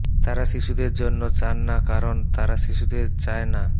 তারা শিশুদের জন্য চান না কারণ তারা শিশুদের চায় না